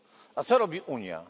A co robi Unia?